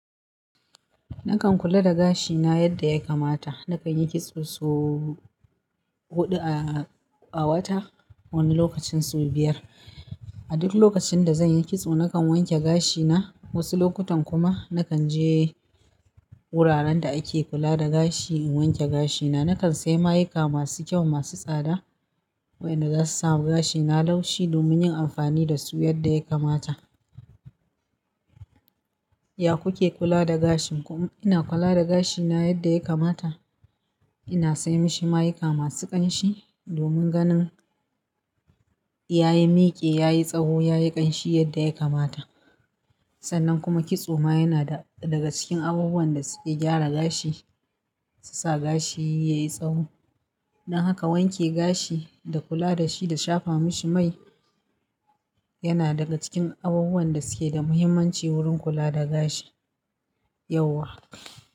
Nakan kula da gashina yadda ya kamata. Nakan yi kitso sau huɗu a, a wata wani lokacin sau biyar. A duk lokacin da zan yi kitso nakan wanke gashina. Wasu lokutan kuma nakan je wuraren da ake kula da gashi in wanke gashina. Nakan sayi ma'aika masu kyau, masu tsada wa'yanda za su sama gashina laushi domin yin amfani da su yadda ya kamata. Ya ku ke kula da gashin ku? Ina kula da gashina yadda ya kamata. Ina sai mashi ma'aika masu ƙanshi domin ganin ya yi miki, ya yi tsawo, ya yi ƙanshi yadda ya kamata. Sannan kuma kitso ma yana da daga cikin abubuwan da suke gyara gashi, su sa gashi ya yi tsawo. Don haka wanke gashi da kula da shi da shafa mashi mai yana daga cikin abubuwan da suke da muhimmanci wurin kula da gashi yauwa.